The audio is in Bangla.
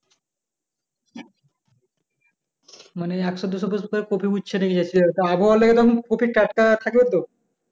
মানে একশো দু শো pice করে কপি নিয়ে আবহওয়া লেগে কপি টাটকা থাকবে তো